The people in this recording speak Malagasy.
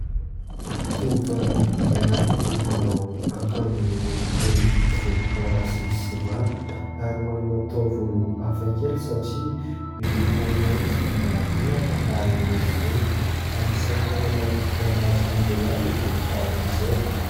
Tovovavy iray manao akanjo miloko toy ny volomparasy sy sy manga ary manana taovolo hafakely satria miloko mainty mangirana ary mihorongorona. Anisany tena manintona ny mason'ny lehilahy ny volo tahaka izao.